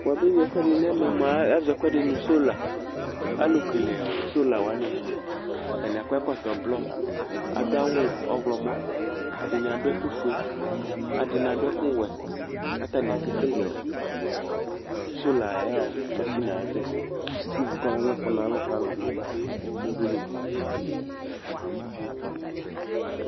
Wʋabe yui ɛfʋɛdɩ nɛmɛ mʋa, azɔ ɛkʋɛdɩ nʋ solaAlʋ kele ɔ sola wanɩ mʋa, atanɩ akɔ ɛkɔtɔ blɔ, adʋ awʋ ɔɣlɔmɔ, adɩnɩ adʋ ɛkʋ fue, adɩnɩ adʋ ɛkʋ wɛ ; katanɩ akekele ɔsola ayɔ masinie ayɛtʋ ɛsɛ kivu kɔmamʋfʋnalʋ kalʋ nʋ udunu ,udunu